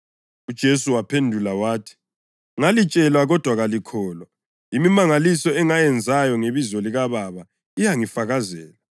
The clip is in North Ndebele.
UJesu waphendula wathi, “Ngalitshela kodwa kalikholwa. Imimangaliso engiyenzayo ngebizo likaBaba iyangifakazela,